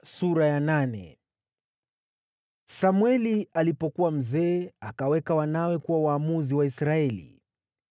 Samweli alipokuwa mzee, akaweka wanawe kuwa waamuzi wa Israeli.